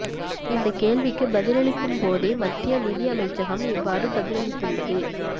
இந்த கேள்விக்கு பதிலளிக்கும் போதே மத்திய நிதி அமைச்சு இவ்வாறு பதில் அளித்துள்ளது